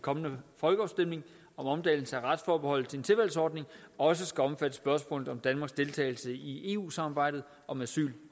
kommende folkeafstemning om omdannelse af retsforbeholdet til en tilvalgsordning også skal omfatte spørgsmålet om danmarks deltagelse i eu samarbejdet om asyl